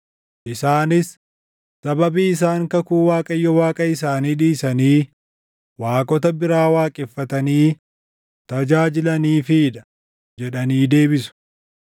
Isaanis, ‘Sababii isaan kakuu Waaqayyo Waaqa isaanii dhiisanii waaqota biraa waaqeffatanii tajaajilaniifii dha’ jedhanii deebisu.”